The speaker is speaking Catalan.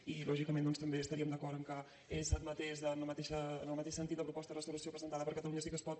i lògicament també estaríem d’acord amb que s’admetés en el mateix sentit la proposta de resolució presentada per catalunya sí que es pot